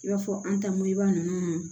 I b'a fɔ an ta mayaa ninnu na